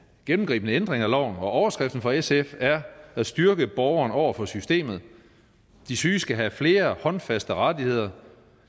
gennemgribende ændring af loven og overskriften for sf er at styrke borgeren over for systemet de syge skal have flere håndfaste rettigheder